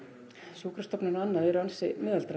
sjúkrastofnanir og annað eru ansi miðaldra